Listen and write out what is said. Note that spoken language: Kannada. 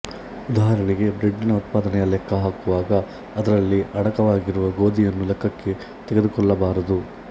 ಉದಾಹರಣೆಗೆ ಬ್ರೆಡ್ಡಿನ ಉತ್ಪಾದನೆಯ ಲೆಕ್ಕ ಹಾಕುವಾಗ ಅದರಲ್ಲಿ ಅಡಕವಾಗಿರುವ ಗೋದಿಯನ್ನು ಲೆಕ್ಕಕ್ಕೆ ತೆಗೆದುಕೊಳ್ಳಬಾರದು